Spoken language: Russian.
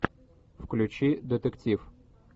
включи детектив